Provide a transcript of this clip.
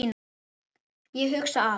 Ég hugsa að